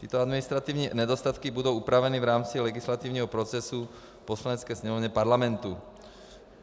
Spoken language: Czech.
Tyto administrativní nedostatky budou opraveny v rámci legislativního procesu v Poslanecké sněmovně Parlamentu.